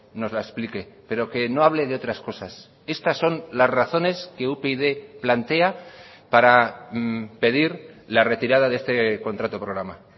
nos la explique pero que no hable de otras cosas estas son las razones que upyd plantea para pedir la retirada de este contrato programa